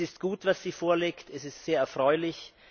Es ist gut, was sie vorlegt, es ist sehr erfreulich!